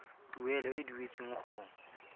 tuelo e e duetsweng go